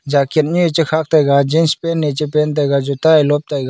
jacket nyu e chekhak taiga jeans pant e che pant taiga juta e lop taiga.